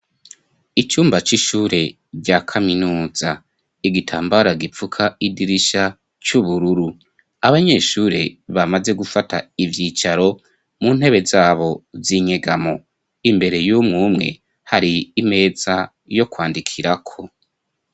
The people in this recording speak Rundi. Icumba c'ishure rya kaminuza. Igitambara gifuka idirisha c'ubururu, abanyeshure bamaze gufata ivyicaro mu ntebe zabo zinyegamo. Imbere y'umumwe hari imeza yo kwandikirako.